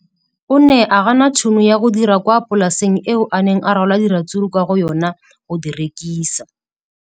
O ne a gana tšhono ya go dira kwa polaseng eo a neng rwala diratsuru kwa go yona go di rekisa.